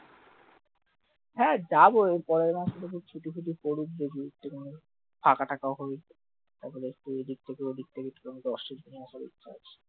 হ্যাঁ যাবো এর পরের মাসে দেখি ছুটি ফুটি পড়ুক দেখি একটুখানি ফাঁকা টাকা হই এত ব্যস্ত এদিক থেকে ওদিক থেকে